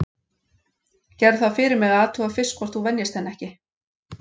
Gerðu það fyrir mig að athuga fyrst hvort þú venjist henni ekki.